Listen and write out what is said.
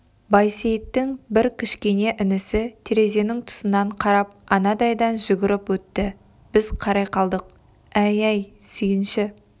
байсейіттің бір кішкене інісі терезенің тұсынан қарап анадайдан жүгіріп өтті біз қарай қалдық әй әй сүйінші